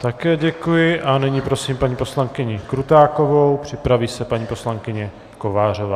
Také děkuji a nyní prosím paní poslankyni Krutákovou, připraví se paní poslankyně Kovářová.